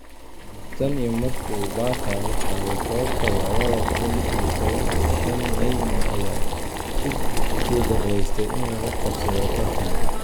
Tan iyo markii uu Barca la qaaday koobka labada kun iyo toban iyo shaan Neymar ayaa ku guuldareystay inuu la qabsado tartanka.